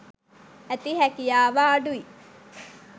ඇති හැකියාව අඩුයි.